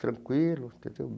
Tranquilo, entendeu?